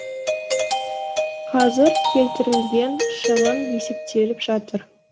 қазір келтірілген шығын есептеліп жатыр